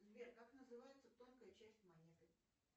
сбер как называется тонкая часть монеты